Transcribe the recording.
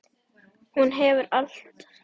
Hún hefur allt.